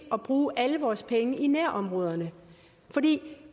at bruge alle vores penge i nærområderne fordi